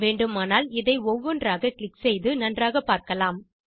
வேண்டுமானால் இதை ஒவ்வொன்றாக கிளிக் செய்து நன்றாகப் பார்க்கலாம்